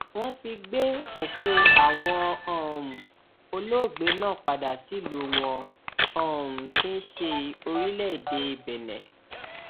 wọn ti gbé òkú àwọn um olóògbé náà padà sílùú wọn um tí í ṣe orílẹèdè benin